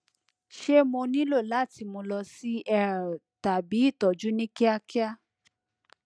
ṣe mo nilo lati mu lọ si er tabi itọju ni kiakia